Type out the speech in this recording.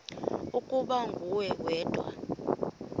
ukuba nguwe wedwa